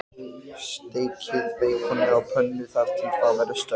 Sé litróf mannlífsins teiknað upp sem hringur, með meðal